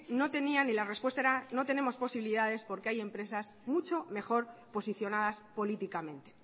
no tenían y la respuesta era no tenemos posibilidades porque hay empresas mucho mejor posicionadas políticamente